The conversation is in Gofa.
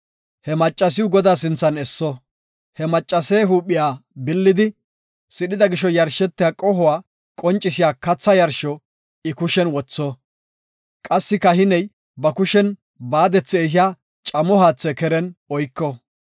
He maccasiw Godaa sinthan esso; he maccase huuphiya billidi sidhida gisho yarshetiya qohuwa qoncisiya katha yarsho I kushen wotho; qassi kahiney ba kushen baadethi ehiya camo haatha keren oyko.